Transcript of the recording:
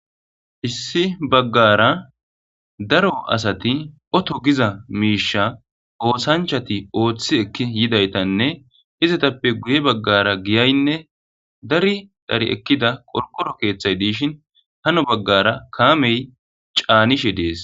Issi baggara daro asati oto giza miisha oosanchati ooththi ekki yidaytanne izatappe guye baggara giyaynne dari dari ekkida qorgoro keeththay diishin hano baggara kaamey caanishe dees.